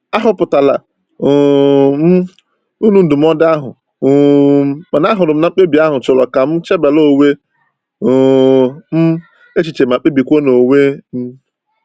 A hụpụtara um m uru ndụmọdụ ahụ, um mana ahụrụ m na mkpebi ahụ chọrọ ka m chebara onwe um m echiche ma kpebikwa n'onwe m..